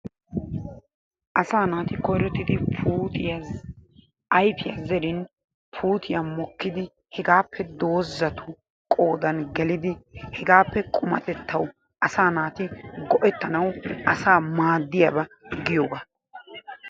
Asaa naati koyrottidi puutiya ayfiya zeerin puutiya mokkidi hegaappe doozatu qoodaan gelidi hegaappe qummatettawu asa naati go"ettanawu asaa maaddiyaaba giyoga.